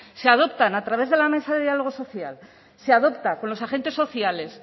se adopta a través de la mesa de diálogo social se adopta con los agentes sociales